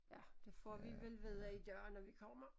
Ja det får vi vel vide i dag når vi kommer